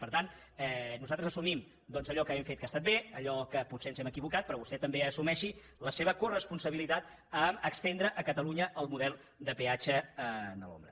per tant nosaltres assumim allò que hem fet que ha estat bé i allò en què potser ens hem equivocat però vostè també assumeixi la seva coresponsabilitat a estendre a catalunya el model de peatge a l’ombra